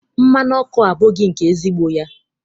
Mmanụ ọkụ a abụghị nke ezigbo ya.